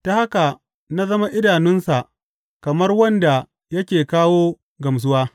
Ta haka na zama idanunsa kamar wanda yake kawo gamsuwa.